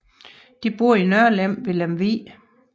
De boede i Nørlem ved Lemvig